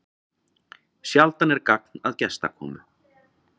Sjaldan er gagn að gestakomu.